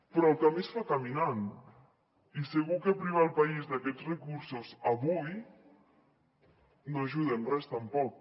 però el camí es fa caminant i segur que privar el país d’aquests recursos avui no ajuda en res tampoc